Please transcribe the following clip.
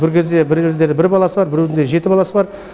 бір кезде бір жердері бір баласы біреудің де жеті баласы бар